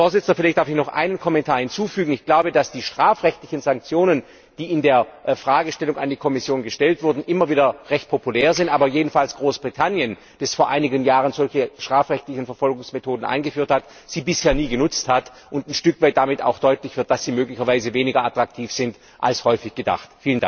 Herr Präsident, vielleicht darf ich noch einen Kommentar hinzufügen Ich glaube, dass die strafrechtlichen Sanktionen, die in der Fragestellung an die Kommission erwähnt wurden, immer wieder recht populär sind, aber jedenfalls Großbritannien, das vor einigen Jahren solche strafrechtlichen Verfolgungsmethoden eingeführt hat, sie bisher nie genutzt hat und ein Stück weit damit auch deutlich wird, dass sie möglicherweise weniger attraktiv sind als häufig gedacht.